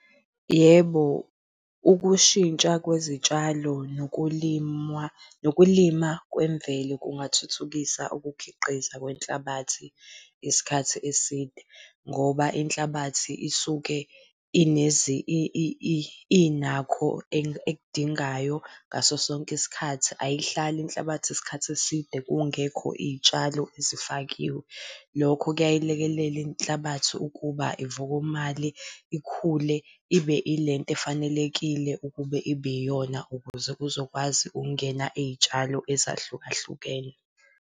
Yebo, ukushintsha kwezitshalo nokulimwa, nokulima kwemvelo kungathuthukisa ukukhiqiza kwehlabathi isikhathi eside. Ngoba inhlabathi isuke inakho ekudingayo ngaso sonke isikhathi ayihlali inhlabathi isikhathi eside kungekho iy'tshalo ezifakiwe. Lokho kuyayilekelela inhlabathi ukuba ivokomale ikhule, ibe ilento efanelekile ukube ibe iyona ukuze kuzokwazi ukungena iy'tshalo ezahlukahlukene.